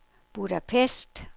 Budapest